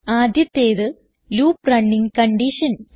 ആദ്യത്തേത് loop running condition